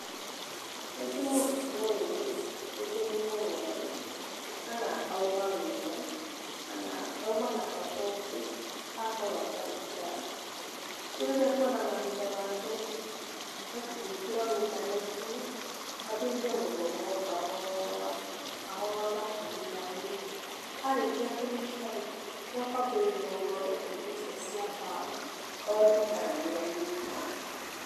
Rĩngĩ mũrutwo ũyũ-rĩ, rĩngĩ nĩ mũrwaru kana auma wĩra, kana auma na bata ũngĩ akorwo atarĩ kĩrathi. Rĩu rĩrĩa ekuona mahinda make-rĩ ekũingĩra o intaneti-inĩ ambĩrĩrie gũthoma o kahoora kahoora nginya anyite. Arĩkia kũnyita-rĩ, nĩakwambĩrĩria gũthondeka indo icio cia mbaũ one kana nĩanyita.